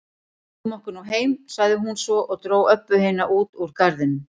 Flýtum okkur nú heim, sagði hún svo og dró Öbbu hina út úr garðinum.